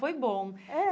Foi bom. É